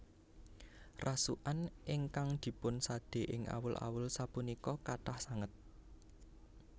Rasukan ingkang dipun sade ing awul awul sapunika kathah sanget